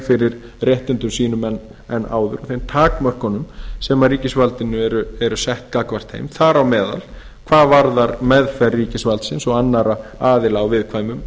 fyrir réttindum sínum en áður og þeim takmörkunum sem ríkisvaldinu eru sett gagnvart þeim þar á meðal hvað varðar meðferð ríkisvaldsins og annarra aðila á viðkvæmum